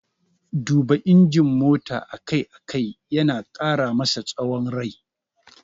Duba injin mota a kai a kai yana ƙara masa tsawon rai.